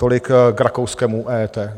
Tolik k rakouskému EET.